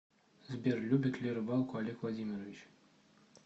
сбер любит ли рыбалку олег владимирович